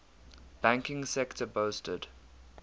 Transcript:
banking sector boasted